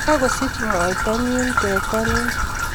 Kagosich moita nyi teta nin